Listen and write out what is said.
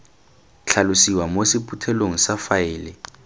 tlhalosiwa mo sephuthelong sa faele